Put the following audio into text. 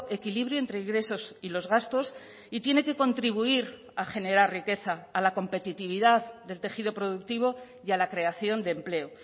equilibrio entre ingresos y los gastos y tiene que contribuir a generar riqueza a la competitividad del tejido productivo y a la creación de empleo